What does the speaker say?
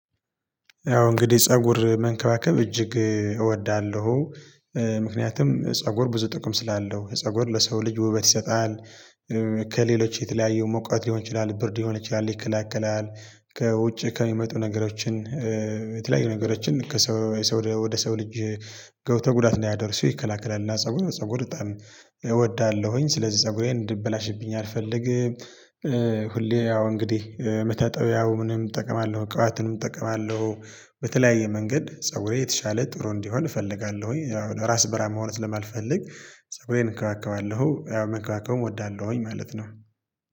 ያው እንግዲህ ፀጉር መንከባከብ እጅግ እወዳለሁ። ምክንያቱም ፀጉር ብዙ ጥቅም ስላለው። ፀጉር ለሰው ልጅ ውበት ይሰጣል፤ ከሌሎች የተለያየው ሙቀት ሊሆን ይችላል ብርድ ሊሆን ይችላል ይከለክላል። ከውጭ ከሚመጡ ነገሮችን የተለያዩ ነገሮችን ከሰው ወደ ሰው ልጅ ገብተው ጉዳት እንዳያደርሱ ይከላከላል። እና ፀጉር ፀጉር በጣም እወዳለሁኝ። ስለዚህ ፀጉሬን እንዲበላሽብኝ አልፈልግም። ሁሌ ያው እንግዲህ መታጠብ ያው ምንም እጠቀማለሁ። ቅባትንም እጠቀማለሁ። በተለያየ መንገድ ፀጉሬ የተሻለ ጥሩ እንዲሆን እፈልጋለሁኝ። ራስ በራም መሆን ስለማልፈልግ ፀጉሬን እንከባከባለሁ። ያው መንከባከብም እወዳለሁኝ ማለት ነው።